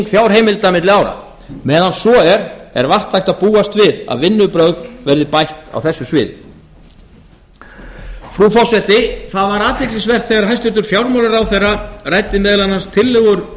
fjárheimilda milli ára meðan svo er er vart hægt að búast við að vinnubrögð verði bætt á þessu sviði frú forseti það var athyglisvert þegar hæstvirtur fjármálaráðherra ræddi meðal annars tillögur